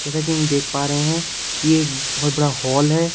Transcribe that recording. जैसा कि हम देख पा रहे हैं कि ये बहोत बड़ा हॉल है।